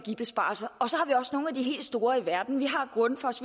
nogle af de helt store i verden vi har grundfos